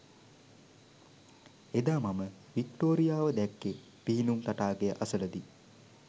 එදා මම වික්ටෝරියාව දැක්කේ පිහිනුම් තටාකය අසලදී